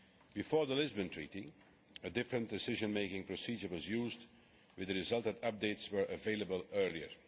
Before the Lisbon Treaty, a different decision making procedure was used, with the result that updates were available earlier.